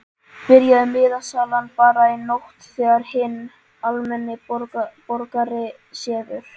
Byrjaði miðasalan bara í nótt þegar hinn almenni borgari sefur?